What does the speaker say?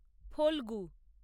Phalgu